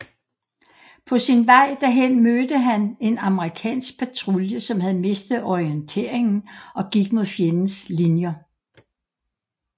På sin vej derhen mødte han en amerikansk patrulje som havde mistet orienteringen og gik mod fjendens linjer